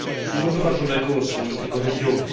zrównoważonego rozwoju tego regionu.